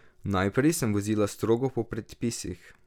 Naprej sem vozila strogo po predpisih.